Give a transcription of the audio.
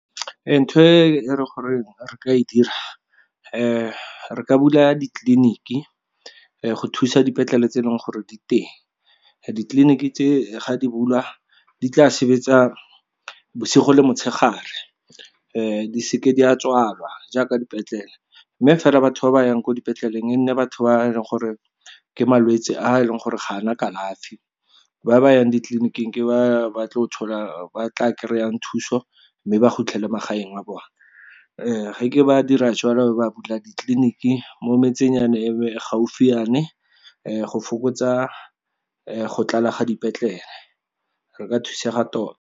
Ntho e le gore re ka e dira, re ka bula ditleliniki go thusa dipetlele tse e leng gore di teng. Ditleliniki tse, ga di bula, di tla sebetsa bosigo le motshegare, di seke di a tswalwa jaaka dipetlele. Mme fela, batho ba ba yang ko dipetleleng e nne batho ba e leng gore ke malwetse a e leng gore ga ana kalafi. Ba ba yang ditleliniking ke ba tla kry-ang thuso, mme ba khutlele magaeng a bone. Ge ke ba dira jalo, ba bula ditleliniki mo metsenyana e gaufinyane, go fokotsa go tlala ga dipetlele. Re ka thusega tota.